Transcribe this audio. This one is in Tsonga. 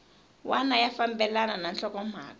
wana ya fambelana na nhlokomhaka